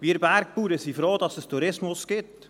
Wir Bergbauern sind froh, dass es den Tourismus gibt.